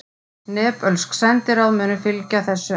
Nepölsk sendiráð munu fylgja þessu eftir